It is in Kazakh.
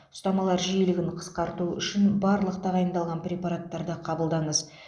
ұстамалар жиілігін қысқарту үшін барлық тағайындалған препараттарды қабылдаңыз